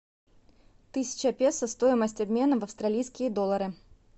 тысяча песо стоимость обмена в австралийские доллары